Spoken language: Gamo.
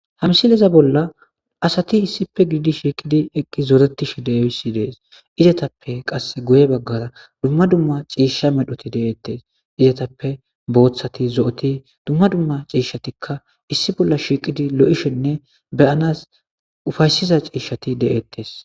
Ha msileza bolla asati issipe giidi shiiqidi eqqi zoretishi deewsi dees izetappe qass guye baggara dumma dumma ciishsha medhoti deeettes izetappe booththati zo7oti dumma dumma ciishshatikka issi bolla shiiqidi lo7ishenne beyanas ufaysiza ciishati de'eettes.